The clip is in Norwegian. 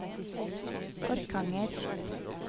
Orkanger